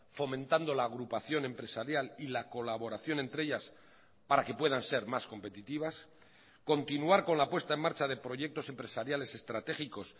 fomentando la agrupación empresarial y la colaboración entre ellas para que puedan ser más competitivas continuar con la puesta en marcha de proyectos empresariales estratégicos